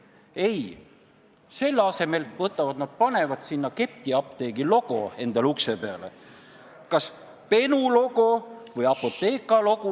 " Aga ei, selle asemel panevad nad ukse peale ketiapteegi logo, kas Benu või Apotheka logo.